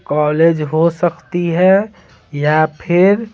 college हो सकती है या फिर--